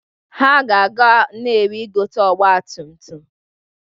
Ha ga-aga Nnewi ịgote ọgbatumtum.